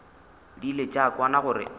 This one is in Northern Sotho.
di ile tša kwana gore